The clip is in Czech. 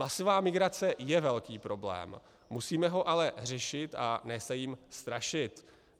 Masová migrace je velký problém, musíme ho ale řešit, a ne se jím strašit.